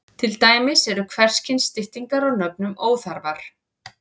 Til dæmis eru hvers kyns styttingar á nöfnum óþarfar.